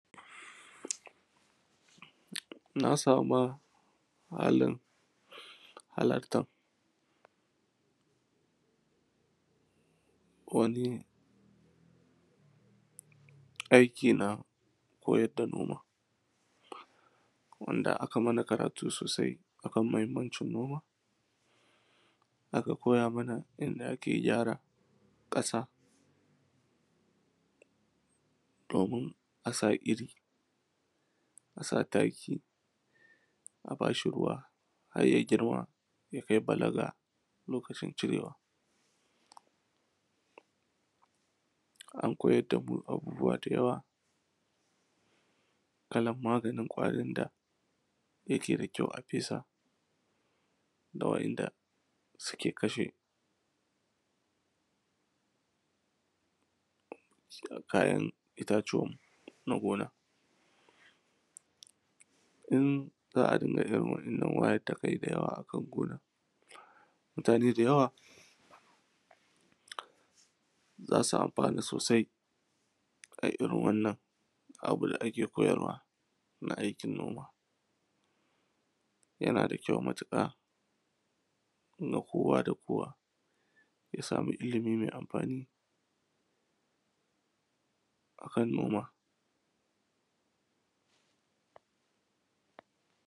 na sama halin halartar wani aiki na koyar da noma wanda aka mana karatu sosai a kan muhimmancin noma aka koya mana yadda ake gyara ƙasa domin a sa iri a sa taki a ba shi ruwa har ya girma ya kai balaga lokacin cirewa an koyar da mu abubuwa da yawa kalan maganin ƙwarin da yake da kyau a fesa da waɗanda suke kashe kayan itatuwanmu na gona in za a dinga irin waɗannan wayar da kai da yawa a kan gona mutane da yawa za su amfana sosai a irin wannan abu da ake koyarwa na aikin noma yana da kyau matuƙa ga kowa da kowa ya samu ilimi mai amfani kan noma